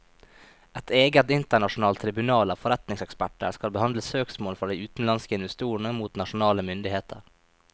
Et eget internasjonalt tribunal av forretningseksperter skal behandle søksmål fra de utenlandske investorene mot nasjonale myndigheter.